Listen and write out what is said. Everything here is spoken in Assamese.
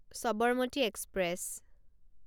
সবৰমতি এক্সপ্ৰেছ